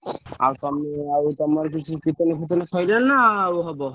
ଆଉ ତମେ ଆଉ ତମର କିଛି କୀର୍ତ୍ତନ ଫିରତନ ସରିଲାଣି ନା ଆଉ ହବ?